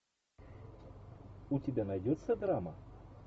у тебя найдется драма